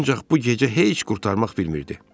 Ancaq bu gecə heç qurtarmaq bilmirdi.